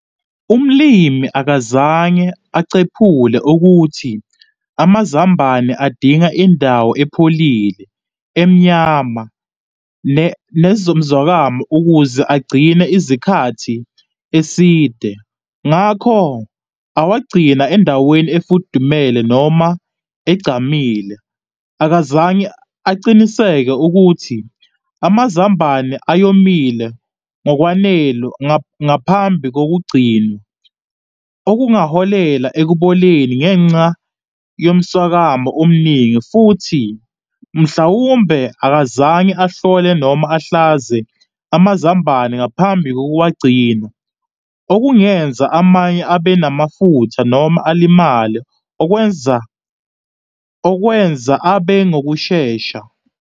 Umlimi akazange acephule ukuthi amazambane adinga indawo epholile, emnyama, nezomzwakamu ukuze agcine izikhathi eside, ngakho awagcina endaweni efudumele noma egcamile. Akazange aciniseke ukuthi amazambane ayomile ngokwanele ngaphambi kokugcina, okungaholela ekuboleni ngenxa yomswakamo omningi. Futhi mhlawumbe akazange ahlole noma ahlaze amazambane ngaphambi kokuwagcina okungenza amanye abenamafutha noma alimale okwenza okwenza abe ngokushesha.